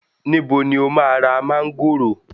Níbo ni o máa ra mángòrò?